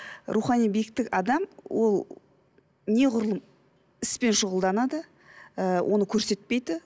рухани биіктік адам ол неғұрлым іспен шұғылданады ііі оны көрсетпейді